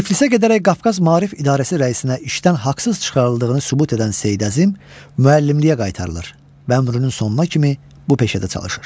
Tiflisə gedərək Qafqaz Maarif İdarəsi rəisinə işdən haqsız çıxarıldığını sübut edən Seyid Əzim müəllimliyə qaytarılır və ömrünün sonuna kimi bu peşədə çalışır.